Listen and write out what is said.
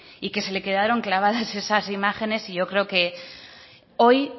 y que se le quedaron clavadas esas imágenes yo creo que hoy